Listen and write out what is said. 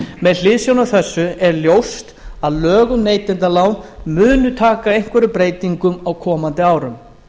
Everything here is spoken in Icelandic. með hliðsjón af þessu er ljóst að lög um neytendalán munu taka einhverjum breytingum á komandi árum